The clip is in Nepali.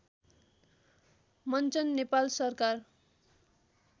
मञ्चन नेपाल सरकार